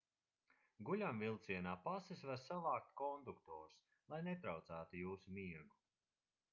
guļamvilcienā pases var savākt konduktors lai netraucētu jūsu miegu